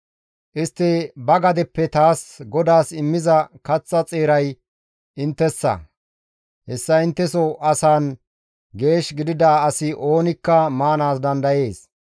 Istti ba gadeppe taas GODAAS immiza kaththa xeeray inttessa; hessa intteso asaan geesh gidida asi oonikka maanaas dandayees.